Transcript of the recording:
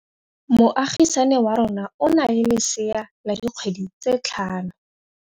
Moagisane wa rona o na le lesea la dikgwedi tse tlhano.